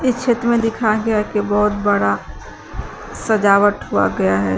चित्र में दिखाया गया है कि बहोत बड़ा सजावट हुआ गया है।